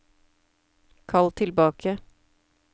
kall tilbake